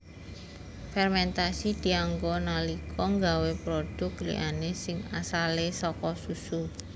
Fermentasi dianggo nalika nggawé produk liyané sing asale saka susu